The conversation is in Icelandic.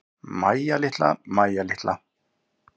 Mæja litla, Mæja litla.